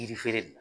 Yiri feere de